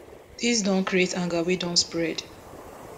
dis don create anger wey don spread